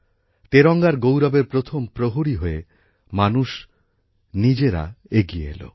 তেরঙ্গার গৌরবের প্রথম প্রহরী হয়ে মানুষ নিজেরা এগিয়ে এল